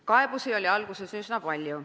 Kaebusi oli alguses üsna palju.